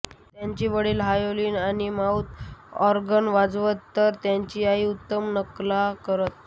त्यांचे वडील व्हायोलिन आणि माऊथ ऑर्गन वाजवत तर त्यांच्या आई उत्तम नकला करत